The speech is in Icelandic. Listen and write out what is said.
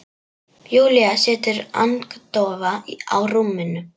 Júlía situr agndofa á rúminu.